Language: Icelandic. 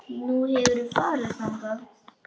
Nú, hefurðu farið þangað?